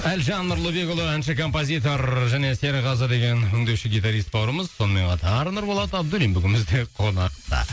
әлжан нұрлыбекұлы әнші композитор және серғазы деген өңдеуші гитарист бауырымыз сонымен қатар нұрболат абдуллин бүгін бізде қонақта